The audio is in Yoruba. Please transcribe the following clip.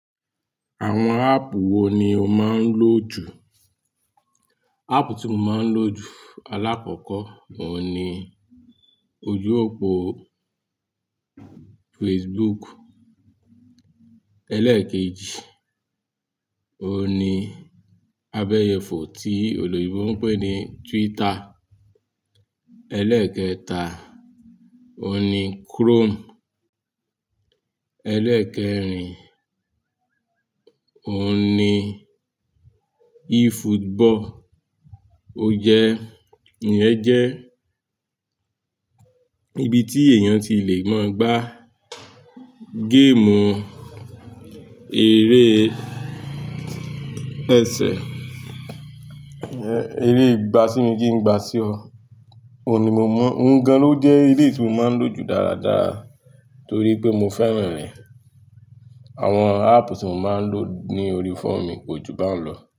Àwọn áàpù wo ni o máa ń lò jù? Ààpù tí mo máa ń lò jù alákọ́kọ́, òun ni ojú òpó Facebook. Eléèkejì, òun ni abẹ́yẹfọ̀ tí oloyinbò ń pè ní Twitter. Eléèkẹta, òun ni Chrome. Eléèkẹrin, òun ni eFootball. Ó jẹ́, iyen jẹ́ ibi tí èèyàn ti lè máa gbá game eré ẹsẹ, eré ìgbà sí mi kí n gbà sí ọ. Òun ni mo mọ̀. Òun gan-an ló jẹ́ eré tí mo máa ń lò jù dáradára torí pé mo fẹ́ràn rẹ̀. Àwọn áàpù tí mo máa ń lò ní orí fóòmù mi kọ̀ jù bá ń lọ̀